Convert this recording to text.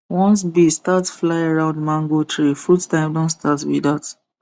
once bee start fly round mango tree fruit time don start be dat